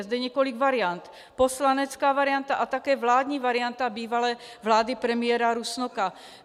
Je zde několik variant - poslanecká varianta a také vládní varianta bývalé vlády premiéra Rusnoka.